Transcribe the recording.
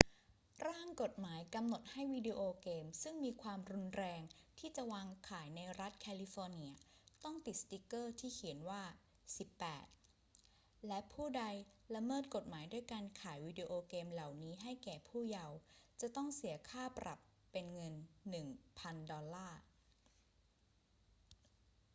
ร่างกฎหมายกำหนดให้วิดีโอเกมซึ่งมีความรุนแรงที่จะวางขายในรัฐแคลิฟอร์เนียต้องติดสติกเกอร์ที่เขียนว่า 18 และผู้ใดละเมิดกฎหมายด้วยการขายวีดิโอเกมเหล่านี้แก่ผู้เยาว์จะต้องเสียค่าปรับเป็นเงิน 1,000 ดอลลาร์